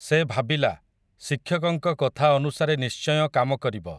ସେ ଭାବିଲା, ଶିକ୍ଷକଙ୍କ କଥା ଅନୁସାରେ ନିଶ୍ଚୟ କାମ କରିବ ।